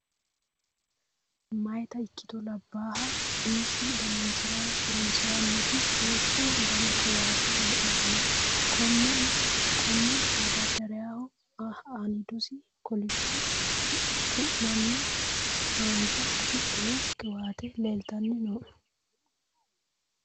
Meyaata ikkito labbaaha umisi dananchira horonsiranoti duuchu dani qiwaate heedhano. Konne madardaraho aanidose kolisho tuana haanja afidhino qiwaate leeltanni nooe.